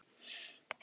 Tækið eins og nýtt.